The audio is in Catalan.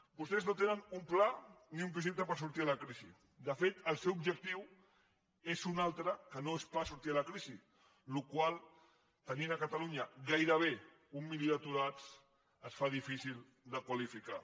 vostès no tenen un pla ni un projecte per sortir de la crisi de fet el seu objectiu és un altre que no és pas sortir de la crisi la qual cosa tenint a catalunya gairebé un milió d’aturats es fa difícil de qualificar